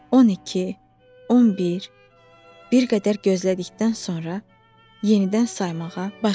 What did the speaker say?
12, 11, bir qədər gözlədikdən sonra yenidən saymağa başladı.